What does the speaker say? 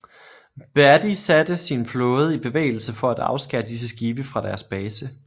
Beatty satte sin flåde i bevægelse for at afskære disse skibe fra deres base